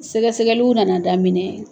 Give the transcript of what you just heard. Sɛgɛsɛgɛliw nana daminɛ.